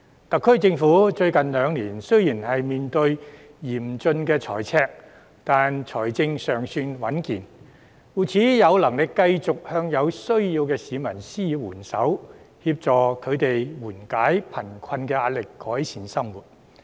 特區政府最近兩年雖然面對嚴峻財赤，但財政尚算穩健，故此有能力繼續向有需要的市民施予援手，協助他們緩解貧困壓力，改善生活。